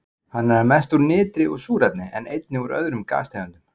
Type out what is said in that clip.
Hann er að mestu úr nitri og súrefni en einnig úr öðrum gastegundum.